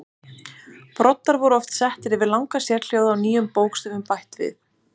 Broddar voru oft settir yfir langa sérhljóða og nýjum bókstöfum bætt við.